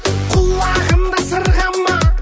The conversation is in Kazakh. құлағында сырға ма